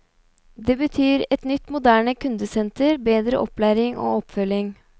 Det betyr et nytt moderne kundesenter, bedre opplæring og oppfølging.